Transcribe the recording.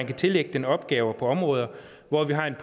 kan tillægges opgaver på områder hvor vi har et